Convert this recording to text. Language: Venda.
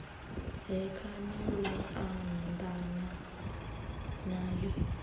he khani lu anḓana nayo